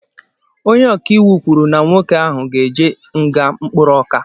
Ónyé ọkà íwú kwụrụ na nwoke ahụ ,ga-eje nga mkpụrụ ọka.